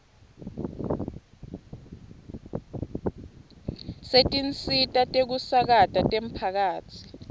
setinsita tekusakata temphakatsi